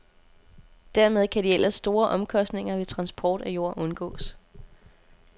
Dermed kan de ellers store omkostninger ved transport af jord undgås.